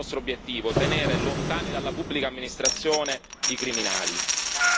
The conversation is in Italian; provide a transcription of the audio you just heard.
Questo è il nostro obiettivo tenere lontani dalla pubblica amministrazione i criminali.